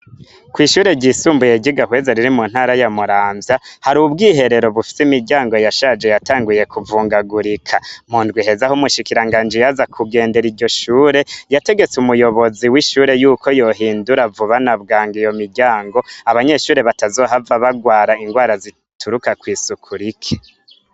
Kw'ishure ryisumbuye ry'igahweza mu ntara ya muramvya, har'ubwiherero bufise imiryango yashaje yatanguye kuvungagurika ,mundw'iheze ah'umushikiranganji yaza kugendera iryo shure, yategetse umuyobozi w'ishure koyohindura vuba na bwangu iyo muryango, abanyeshure batazohava barwara indwra eituruka kw'isuku rike.